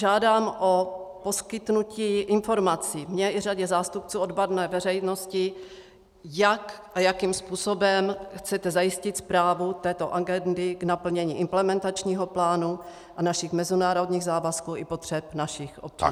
Žádám o poskytnutí informací, mně i řadě zástupců odborné veřejnosti, jak a jakým způsobem chcete zajistit správu této agendy k naplnění implementačního plánu a našich mezinárodních závazků i potřeb našich občanů.